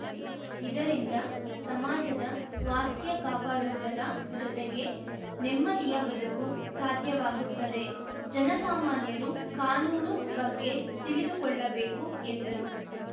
ಇದರಿಂದ ಸಮಾಜದ ಸ್ವಾಸ್ಥ್ಯ ಕಾಪಾಡುವುದರ ಜೊತೆಗೆ ನೆಮ್ಮದಿಯ ಬದುಕು ಸಾಧ್ಯವಾಗುತ್ತದೆ ಜನಸಾಮಾನ್ಯರು ಕಾನೂನು ಬಗ್ಗೆ ತಿಳಿದುಕೊಳ್ಳಬೇಕು ಎಂದರು